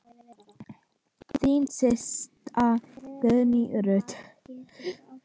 Þín systa, Guðný Ruth.